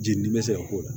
Jeli dimi be se ka k'o la